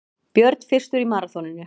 Björn fyrstur í maraþoninu